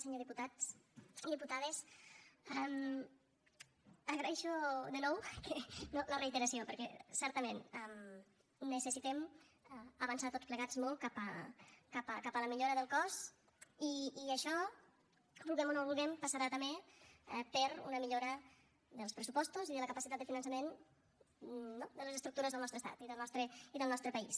senyors diputats i diputades agraeixo de nou la reiteració perquè certament necessitem avançar tots plegats molt cap a la millora del cos i això ho vulguem o no ho vulguem passarà també per una millora dels pressupostos i de la capacitat de finançament no de les estructures del nostre estat i del nostre país